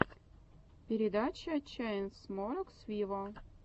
передача чайнсмокерс виво